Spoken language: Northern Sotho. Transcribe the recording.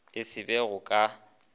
e se ba go ka